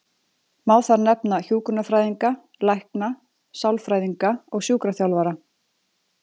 Má þar nefna hjúkrunarfræðinga, lækna, sálfræðinga og sjúkraþjálfara.